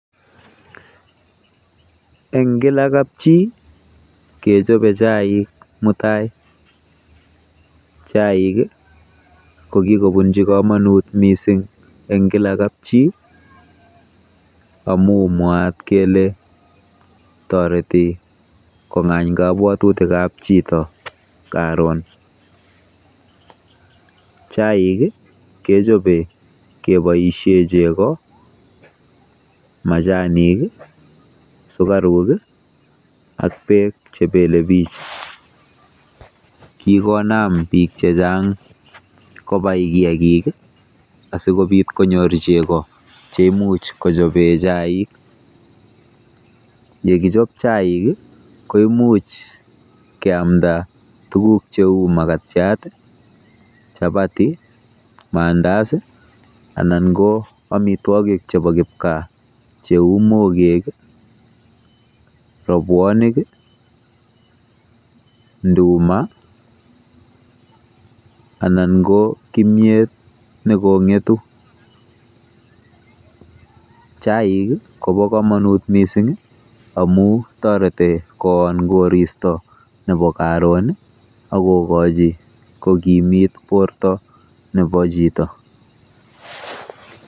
Eng kila kapchii kechobe chaik mutai. Chaik kokibunji komonut mising eng kila kapchii amu mwaat kele toreti kong'any kabwatutikab chito karon.